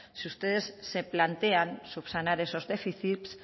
si ustedes se plantean subsanar esos déficits